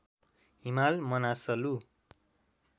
Himal Manaslu